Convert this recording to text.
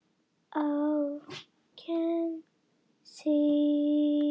Aðgangur er algjörlega ókeypis